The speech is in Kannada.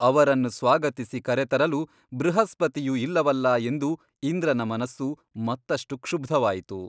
ಅವರನ್ನು ಸ್ವಾಗತಿಸಿ ಕರೆತರಲು ಬೃಹಸ್ಪತಿಯು ಇಲ್ಲವಲ್ಲಾ ಎಂದು ಇಂದ್ರನ ಮನಸ್ಸು ಮತ್ತಷ್ಟು ಕ್ಷುಬ್ಧವಾಯಿತು.